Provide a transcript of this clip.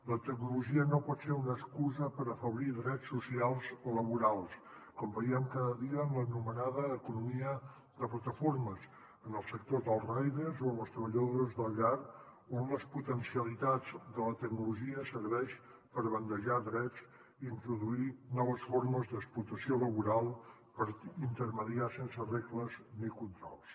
la tecnologia no pot ser una excusa per afeblir drets socials o laborals com veiem cada dia en l’anomenada economia de plataformes en els sectors dels riders o en les treballadores de la llar on les potencialitats de la tecnologia serveixen per bandejar drets introduir noves formes d’explotació laboral per mitjançar sense regles ni controls